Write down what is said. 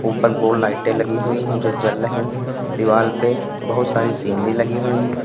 ऊपर दो लाइटें लगी हुई है जो जल रही हैं दीवाल पे बहुत सारी सीनरी लगी हुई है।